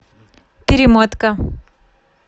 перемотка